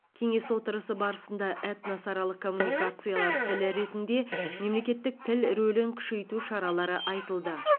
кеңес отырысы барысында этносаралық коммуникациялар тілі ретінде мемлекеттік тіл рөлін күшейту шаралары айтылды